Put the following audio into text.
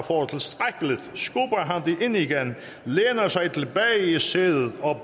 det ind igen læner sig tilbage i sædet og